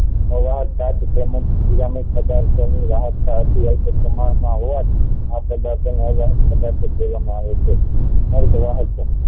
પ્રમાણ માં હોવાથી આ પધાર્થ ને પધાર્થ કહેવામાં આવે છે